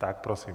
Tak prosím.